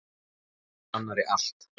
Segja hvor annarri allt.